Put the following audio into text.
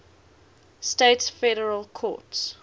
states federal courts